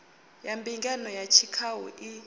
ya mbingano ya tshikhau i